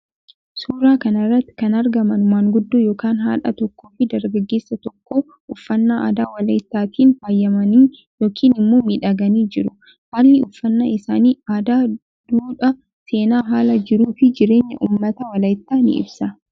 Suuraa kanarratti kan argamanu maanguddo yookan haadha tokkoo fi dargaggeessa tokko uffannaa aadaa walayitaatiin faayamanii yookiin immoo miidhagani jiru. Haalli uffanna isaani aadaa dhuudhaa seena haala jiruu fi jireenya uummata walayita ni ibsa.